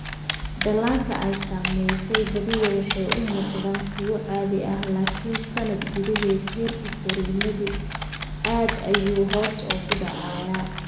Dhallaanka ay saamaysay badiyaa waxay u muuqdaan kuwo caadi ah laakiin sannad gudaheed, heerka koriimadoodu aad ayuu hoos ugu dhacayaa.